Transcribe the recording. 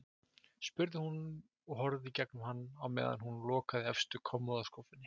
spurði hún og horfði í gegnum hann á meðan hún lokaði efstu kommóðuskúffunni.